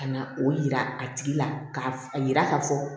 Ka na o yira a tigi la ka a yira k'a fɔ